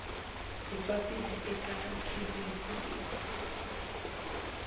hi papila eka kherefu leyi